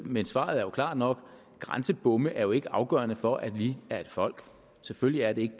men svaret er klart nok grænsebomme er jo ikke afgørende for at vi er et folk selvfølgelig er de ikke